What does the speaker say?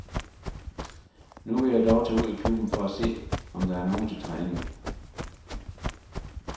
Nu vil jeg dog tage ud i klubben for at se, om der er nogen til træning.